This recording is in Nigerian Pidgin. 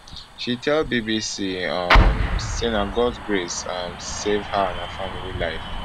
she tell bbc um say na god grace um save her and her family life